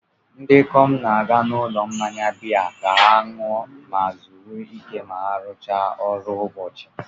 ndị ikom na-aga n'ụlọ mmanya biya ka ha ṅụọ ma zuru ike ma ha rụchaa ọrụ ụbọchị